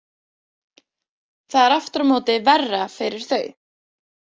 Það er aftur á móti vera fyrir þau.